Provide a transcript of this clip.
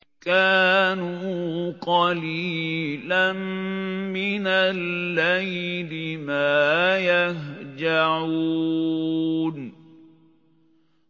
كَانُوا قَلِيلًا مِّنَ اللَّيْلِ مَا يَهْجَعُونَ